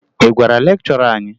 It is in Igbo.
Ị gwara lekchọra anyị?